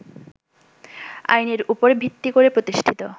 আইনের উপর ভিত্তি করে প্রতিষ্ঠিত